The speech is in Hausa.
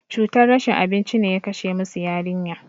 Cutar rashin abinci ne ya kashe musu yarinya.